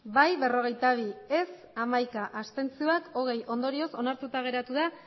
bai berrogeita bi ez hamaika abstentzioak hogei ondorioz onartuta geratu da